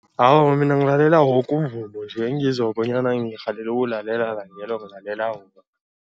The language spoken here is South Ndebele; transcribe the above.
Awa, mina ngilalela woke umvumo nje, engizwa bonyana ngirhalele ukuwulale langelo ngilalela wona.